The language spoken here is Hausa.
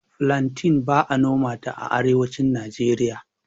Filanten ba'a nomanta a Arewacin Najeriya.